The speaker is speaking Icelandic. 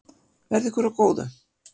Verði ykkur að góðu.